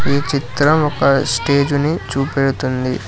ఈ చిత్రం ఒక స్టేజుని చూపెడుతుంది.